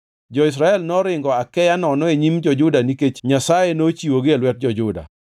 Jo-Israel noringo akeya nono e nyim jo-Juda nikech Nyasaye nochiwogi e lwet jo-Juda.